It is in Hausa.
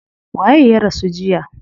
Waye ya rasu jiya?